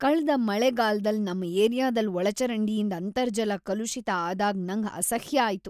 ಕಳ್ದ ಮಳೆಗಾಲದಲ್ ನಮ್ ಏರಿಯಾದಲ್ ಒಳಚರಂಡಿಯಿಂದ್ ಅಂತರ್ಜಲ ಕಲುಷಿತ ಆದಾಗ್ ನಂಗ್ ಅಸಹ್ಯ ಆಯ್ತು.